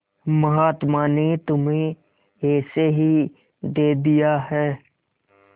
महात्मा ने तुम्हें ऐसे ही दे दिया है